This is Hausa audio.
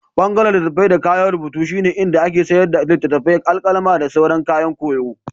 Ɓangaren litattafai da kayan rubutu shine inda ake sayar da littattafai, alƙalami, da sauran kayan koyo.